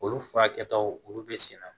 Olu furakɛtaw olu bɛ senna